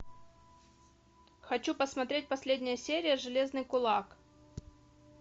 хочу посмотреть последняя серия железный кулак